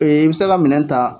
Ee i be se ka minɛn ta